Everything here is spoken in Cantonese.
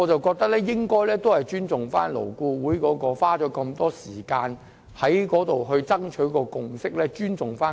我認為有必要尊重勞顧會花了大量時間所取得的共識和基礎。